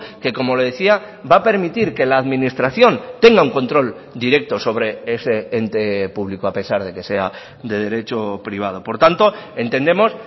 que como le decía va a permitir que la administración tenga un control directo sobre ese ente público a pesar de que sea de derecho privado por tanto entendemos